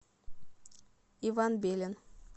иван белин